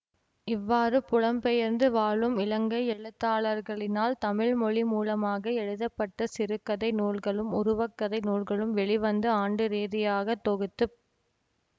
இவ்வாறு புலம்பெயர்ந்து வாழும் இலங்கை எழுத்தாளர்களினால் தமிழ் மொழிமூலமாக எழுதப்பட்ட சிறுகதை நூல்களும் உருவக்கதை நூல்களும் வெளிவந்த ஆண்டு ரீதியாகத் தொகுத்துப்